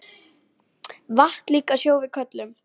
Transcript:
Vatn líka sjó við köllum.